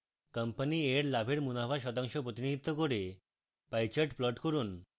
company a এর লাভের মুনাফা শতাংশ প্রতিনিধিত্ব করে pie chart plot করুন